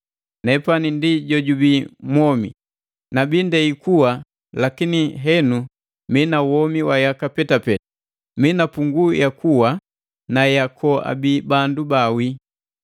Nepani ndi jo jubi mwomi! Nabi ndei kuwa lakini linga henu mina mwomi yaka petapeta. Mii na punguu ya kuwa na ya koabi bandu baawi.